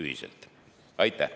Aitäh!